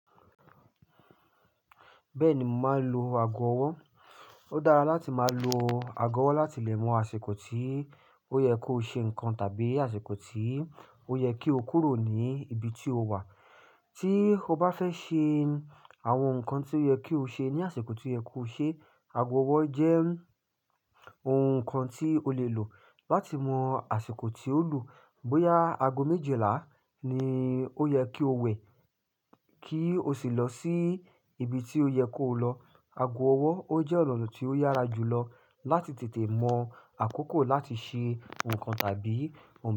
Bẹ́ẹ̀ni mo máa ń lo ago ọwọ́. Ó dára láti máa lo ago ọwọ́ láti lè mọ àsìkò tí ó yẹ kó ṣe nǹkan tàbí àsìkò tí ó yẹ kí o kúrò ní ibi tí o wà. Tí o bá fẹ́ ṣe àwọn nǹkan tí ó yẹ kí o ṣe ní àsìkò tí ó yẹ kó ṣe, ago ọwọ́ jẹ́ ohun kan tí o lè lò láti mọ àsìkò tí ó lù. Bóyá ago méjìlá ni ó yẹ kí o wẹ̀ kí o sì lọ sí ibi tí ó yẹ kó lọ. Ago ọwọ́ ó jẹ́ ọ̀nà tí ó yára jùlọ láti tètè mọ àkókò láti ṣe nǹkan tàbí ohun.